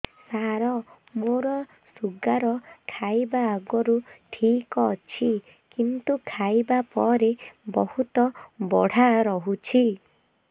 ସାର ମୋର ଶୁଗାର ଖାଇବା ଆଗରୁ ଠିକ ଅଛି କିନ୍ତୁ ଖାଇବା ପରେ ବହୁତ ବଢ଼ା ରହୁଛି